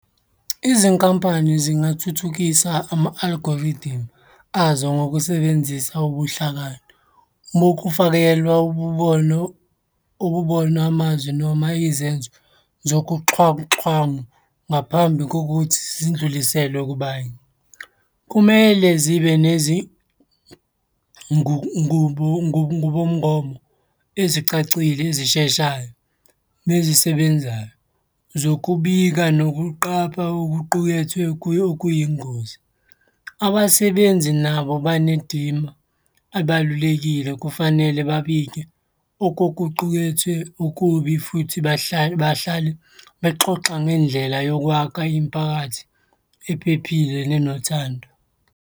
Izinkampani zingathuthukisa ama-algorithm azo ngokusebenzisa ubuhlakani bokufakelwa ububono, ububona, amazwi, noma izenzo zokuxhwanguxhwangu ngaphambi kokuthi zindluliselwe kubanye. Kumele zibe nezi ngubomngomo ezicacile ezisheshayo nezisebenzayo, zokubika nokuqapha okuqukethwe okuyingozi. Abasebenzi nabo banedima abalulekile kufanele babike okokuqukethwe okubi futhi bahlale bexoxa ngendlela yokwakha imiphakathi ephephile nenothando.